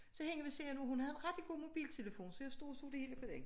Så hende ved siden af hun havde en rigtig god mobiltelefon så jeg stod og så det hele på den